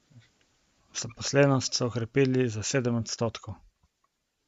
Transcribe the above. Zaposlenost so okrepili za sedem odstotkov.